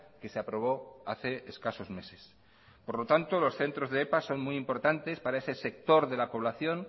que se aprobó hace escasos meses por lo tanto los centros de epa son muy importante para ese sector de la población